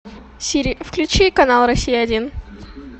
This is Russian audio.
сири включи канал россия один